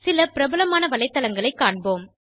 சில பிரபலமான வலைத்தளங்களை காண்போம்